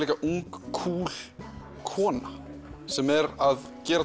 ung kúl kona sem er að gera